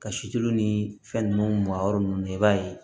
Ka si tulu ni fɛn ninnu mayɔrɔ ninnu na i b'a ye